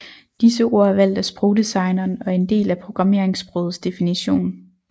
Disse ord er valgt af sprogdesigneren og er en del af programmeringssprogets definition